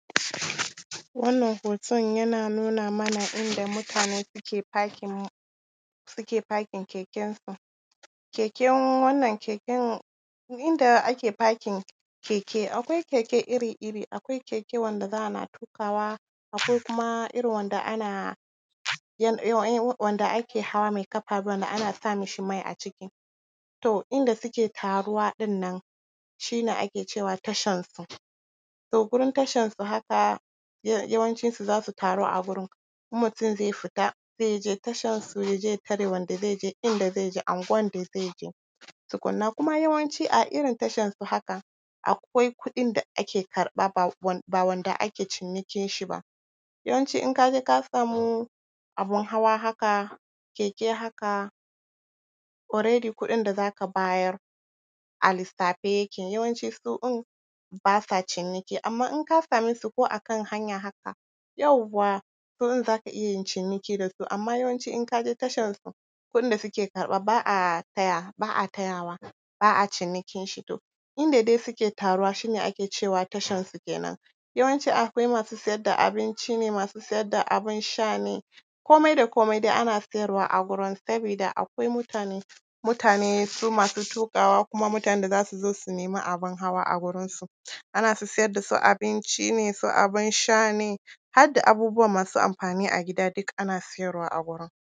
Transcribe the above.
Wannan hoton yana nuna mana inda mutane suke parking, suke parking kekensu. Keken wannan keken, inda ake parking keke Akwai keke iri-iri. Akwai keke wanda za a na tuƙawa, akwai kuma irin wanda ana.... wanda ake hawa, mai ƙafa, wanda ana sa mishi mai a ciki. To inda suke taruwa ɗin, shi ne ake cewa tashansu. To gurin tashansu haka, yawancinsu za su taru a gurin, in mutum zai fita, sai ya je tashansu, ya je ya tare wanda zai je inda zai je, unguwan da zai je, tukunna. Kuma yawanci, a irin tashansu haka, akwai kuɗin da ak karɓa, ba wanda ake cinikinshi ba. Yawanci in ka je ka samu abin hawa haka, keke haka, already kuɗin da za ka bayar a lissafe yake, yawanci su ɗin ba sa ciniki. Amma in ka same su a kan hanya haka, yauwa! wurin za ka iya yin ciniki da su, amma yawanci in ka je tashansu, kuɗin da suke karɓa ba a tayawa, ba a tayawa, ba a cinikinshi to. Inda dais uke taruwa, shi ne ake cewa tashansu kenan. Yawanci akwai masu siyar da abinci ne, masu siyar da abin sha ne, komai da komai dai ana siyar a gurin, sabida akwai mutane, mutane su masu tuƙawa kuma mutanen da za su zo su nemi abin hawa a gurinsu. Ana su siyar da su abinci ne, su abin sha ne, har da abubuwa masu amfani a gida duka ana siyarwa a gurin.